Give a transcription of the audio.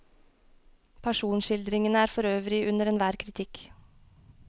Personskildringene er for øvrig under enhver kritikk.